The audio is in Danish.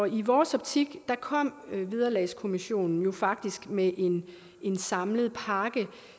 i vores optik kom vederlagskommissionen jo faktisk med en en samlet pakke